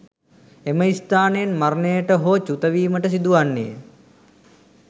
එම ස්ථානයෙන් මරණයට හෝ චුත වීමට සිදු වන්නේ ය.